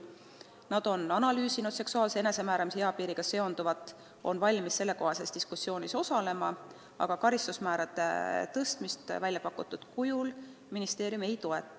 Nad on analüüsinud seksuaalse enesemääramise eapiiriga seonduvat ning on valmis selles diskussioonis osalema, aga karistusmäärade tõstmist väljapakutud kujul ministeerium ei toeta.